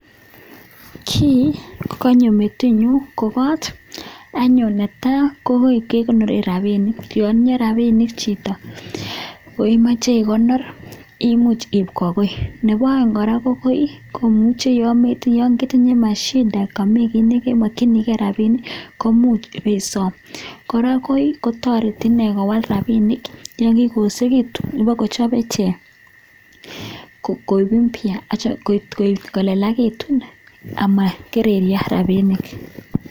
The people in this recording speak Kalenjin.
Kii konyo metinyun anyun ko koot anyun, netaa ko koi kekonoren rabinik, yon itinye rabinik chito ko imoche ikonor imuch kobaa koi, nebo oeng kora ko koi komuche yoon ketinye mashida yoon mii kii nemokyinike rabinik komuch ibesom, kora koii kotoreti inee kowal rabinik, yoon kikoyosekiitu ibokochobe ichek koik impya kolelakitun amakererio rabinik.